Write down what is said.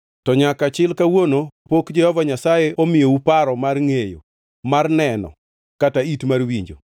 To nyaka chil kawuono pok Jehova Nyasaye imiyou paro mar ngʼeyo, mar neno kata it mar winjo.